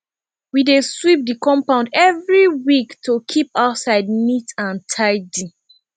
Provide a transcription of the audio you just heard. we dey sweep the compound every week to keep outside neat and tidy